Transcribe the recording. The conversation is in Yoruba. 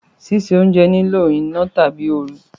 Sise ounje nilo ina tabi ooru